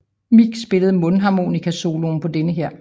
Mick spillede mundharmonika soloen på denne her